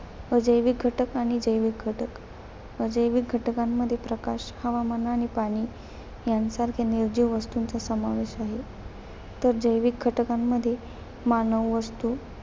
अजैविक घटक आणि जैविक घटक. अजैविक घटकांमध्ये प्रकाश, हवामान आणि पाणी यांच्यासारख्या निर्जीव वस्तूंचा समावेश आहे. तर जैविक घटकांमध्ये मानव वस्तू